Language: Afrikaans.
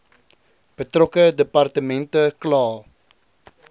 betrokke departement kla